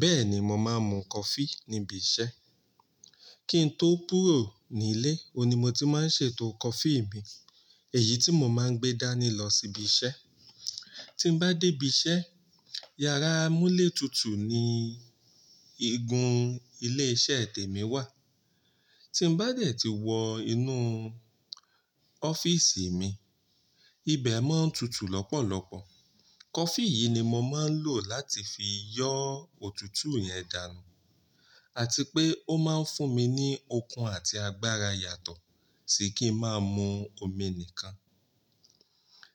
Bẹ́ẹ̀ni, mo máa ń mu coffee níbi iṣẹ́. Kí n tó kúrò nílé, òun ni mo ti máa ń ṣètò coffee mi, èyí tí mo máa ń gbé dání lọ síbi iṣẹ́. Tí n bá dé ibi iṣẹ́, yàrá amúlẹ̀ tútù ni igun ilé iṣẹ́ tèmi wà. Tí n bá dẹ̀ tí wọ inú ọ́fíìsì mi, ibẹ̀ mọ́ ń tutù lọ́pọ̀lọpọ̀. Coffee yìí ni mo máa ń lò láti fi yọ́ òtútù yẹn dànù àti pé ó máa ń fún mi ní okun àti agbára yàtọ̀ sì kí ń máa mu omi nìkan.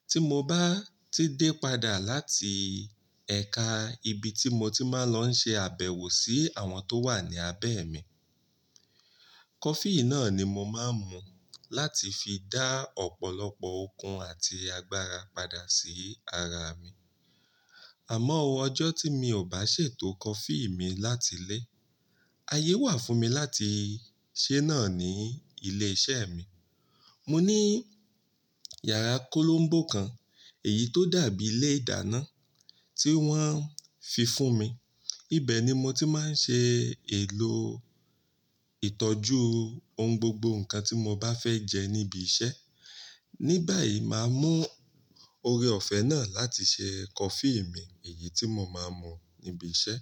Tí mo bá ti dé padà láti ẹ̀ka ibi tí mo ti máa ń lọ ṣe àbẹ̀wò sí àwọn tó wà ní abẹ́ mi, coffee náà ni mo máa ń mu láti fi dá ọ̀pọ̀lọpọ̀ okun àti agbára padà sí ara mi. Àmọ́, o ọjọ́ tí mi ò bá ṣètò coffee mi láti ilé, ayé wà fún mi láti ṣe náà ní ilé iṣẹ́ mi. Mo ní yàrá kolombo kan, èyí tó dàbí ilé ìdáná tí wọ́n fi fún mi. Ibẹ̀ ni mo ti máa ń ṣe èlò ìtọ́jú ohun gbogbo nǹkan tí mo bá fẹ́ jẹ níbi iṣẹ́. Nígbà yìí, màá mú oore-ọ̀fẹ́ náà láti ṣe coffee mi, èyí tí mo máa ń mu níbi iṣẹ́.